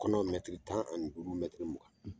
Kɔnɔ mɛtiri tan ani duuru mɛtiri mugan.